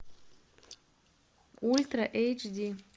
ультра эйч ди